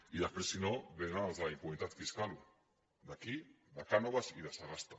i després si no vénen els de la impunitat fiscal d’aquí de cánovas i de sagasta